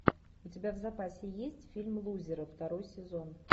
у тебя в запасе есть фильм лузеры второй сезон